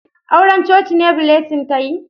Auran coci ne Blessing ta yi?